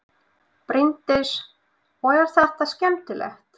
Bryndís: Og er þetta skemmtilegt?